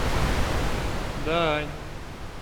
даань